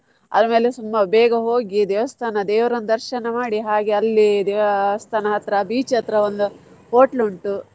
ಆಮೇಲೆ ಬೇಗ ಹೋಗಿ ದೇವಸ್ಥಾನ ದೇವ್ರನ ದರ್ಶನ ಮಾಡಿ ಹಾಗೆ ಅಲ್ಲಿ ದೇವಸ್ಥಾನ ಹತ್ರ beach ಹತ್ರ ಒಂದ್ hotel ಉಂಟು.